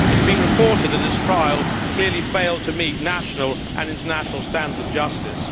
It has been reported that his trial clearly failed to meet national and international standards of justice.